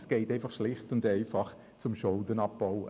Das geht Ende Jahr schlicht und einfach in den Schuldenabbau.